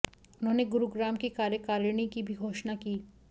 उन्होंने गुरुग्राम की कार्यकारिणी की भी घोषणा की